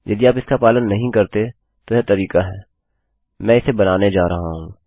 यदि आप इसका पालन नहीं करते तो यह तरीका है मैं इसे बनाने जा रहा हूँ